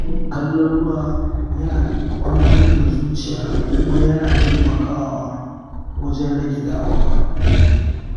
Kallon ruwa yana kwantar da zuciya kuma yana taimakawa wajen rage damuwa.